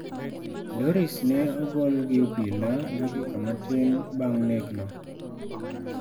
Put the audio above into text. Doris ne ogol gi obila dakika matin bang nek no.